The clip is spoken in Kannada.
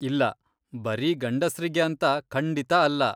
ಇಲ್ಲ, ಬರೀ ಗಂಡಸ್ರಿಗೆ ಅಂತ ಖಂಡಿತಾ ಅಲ್ಲ.